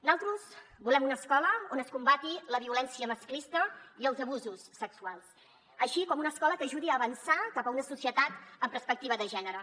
nosaltres volem una escola on es combatin la violència masclista i els abusos sexuals així com una escola que ajudi a avançar cap a una societat amb perspec·tiva de gènere